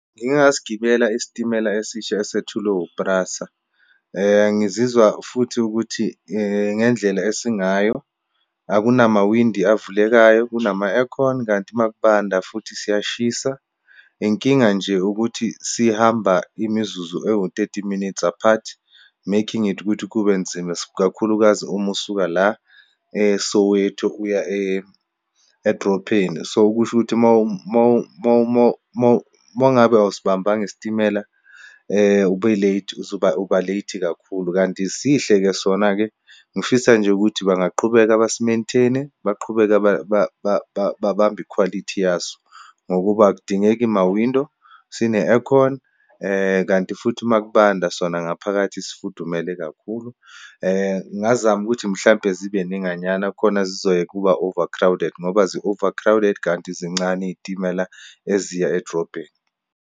Ngike ngasigibela isitimela esisha esethulwe u-PRASA. Ngizizwa futhi ukuthi ngendlela esingayo, akunamawindi avulekayo, kunama-aircon. Kanti uma kubanda futhi siyashisa, inkinga nje ukuthi sihamba imizuzu ewu-thirty minutes apart making it ukuthi kube nzima, ikakhulukazi uma usuka la e-Soweto uya edropheni. So, kusho ukuthi uma ngabe awusibambanga isitimela ube late, uzoba, uba late kakhulu. Kanti sihle-ke sona-ke. Ngifisa nje ukuthi bangaqhubeka basi-maintain-e, baqhubeke babambe ikhwalithi yaso. Ngokuba akudingeki ma-window, sine-aircon. Kanti futhi uma kubanda sona ngaphakathi sifudumele kakhulu. Ngazama ukuthi, mhlampe zibe ninganyana khona zizoyeka ukuba overcrowded ngoba zi-overcrowded, kanti zincane iyitimela eziya edrobheni.